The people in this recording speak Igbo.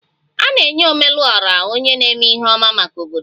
A na-enye Ome lu Ora onye na-eme ihe ọma maka obodo